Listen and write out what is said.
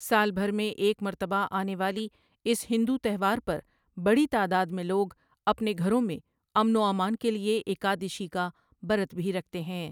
سال بھر میں ایک مرتبہ آنے والی اس ہندو تہوار پر بڑی تعداد میں لوگ اپنے گھروں میں امن و امان کے لیے ایکٓادٓشِی کا برت کا بھی رکھتے ہیں ۔